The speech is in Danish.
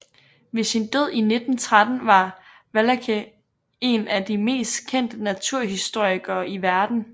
Ved sin død i 1913 var Wallace en af de mest kendte naturhistorikere i verden